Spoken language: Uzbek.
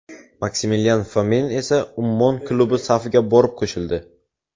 Maksimilian Fomin esa Ummon klubi safiga borib qo‘shildi .